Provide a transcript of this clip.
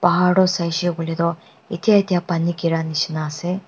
bahar toh saishe kuile toh itya itya pani giri nishina ase.